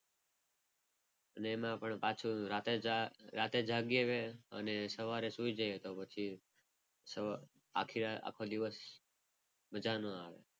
અને એમાં પણ પાછું રાત્રે રાત્રે જાગીએ અને સવારે સુઈ જઈએ તો પછી આખો દિવસ મજા ના આવે.